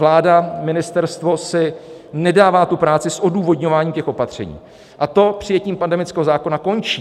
Vláda, ministerstvo, si nedává tu práci s odůvodňováním těch opatření a to přijetím pandemického zákona končí.